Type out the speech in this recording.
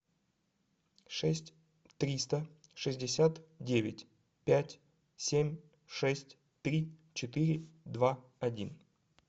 шесть триста шестьдесят девять пять семь шесть три четыре два один